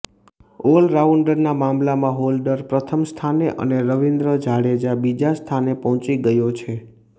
ઓલરાઉન્ડરના મામલામાં હોલ્ડર પ્રથમ સ્થાને અને રવિન્દ્ર જાડેજા બીજા સ્થાને પહોંચી ગયો છે